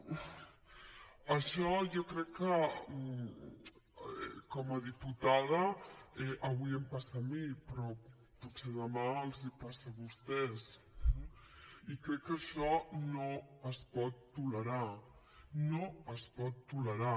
això jo crec que com a diputada avui em passa a mi però potser demà els passa a vostès eh i crec que això no es pot tolerar no es pot tolerar